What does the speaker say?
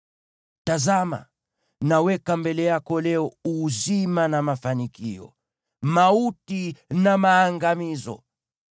Tazama, naweka mbele yako leo uzima na mafanikio, mauti na maangamizo.